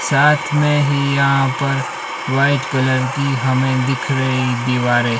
साथ में ही यहां पर वाइट कलर की हमें दिख रही दीवारे--